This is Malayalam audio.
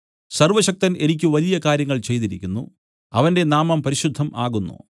സർവ്വശക്തൻ എനിക്ക് വലിയ കാര്യങ്ങൾ ചെയ്തിരിക്കുന്നു അവന്റെ നാമം പരിശുദ്ധം ആകുന്നു